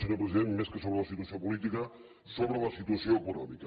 senyor president més que sobre la situació política sobre la situació econòmica